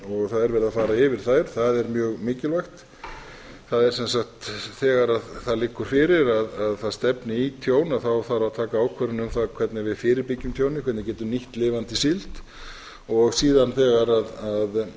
það er verið að fara yfir þær það er mjög mikilvægt það er sem sagt þegar það liggur fyrir að það stefni í tjón þarf að taka ákvörðun um það hvernig við fyrirbyggja tjónið hvernig við getum nýtt lifandi síld síðan þegar